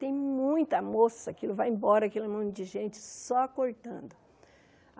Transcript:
Tem muita moça, aquilo vai embora, aquele monte de gente, só cortando.